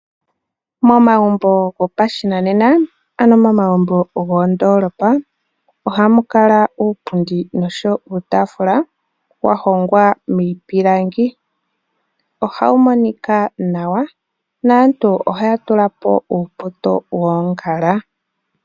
Momagumbo gopashinanena ano momagumbo gomoondoolopa ohamu kala uupundi nosho wo uutaafula wa hongwa miipilangi. Oha wu monika nawa, naantu oha ya tula po uupoto woongala.